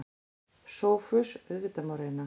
SOPHUS: Auðvitað má reyna.